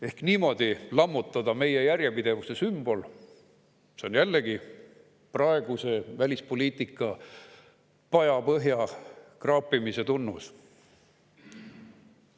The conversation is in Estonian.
Ehk niimoodi lammutada meie järjepidevuse sümbol – see on jällegi praeguse välispoliitika pajapõhja kraapimise tunnus.